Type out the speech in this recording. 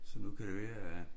Så nu kan det være at